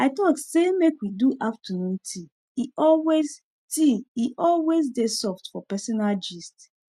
i talk say may we do afternoon tea e always tea e always dey soft for personal gist